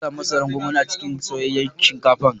Zan sa masaran gwangwani a cikin soyayyan shinkafan.